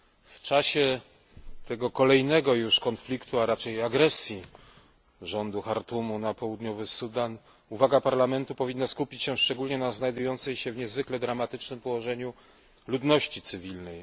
W czasie kolejnego już konfliktu, a raczej agresji rządu Chartumu na Południowy Sudan uwaga Parlamentu powinna skupić się szczególnie na znajdującej się w niezwykle dramatycznym położeniu ludności cywilnej.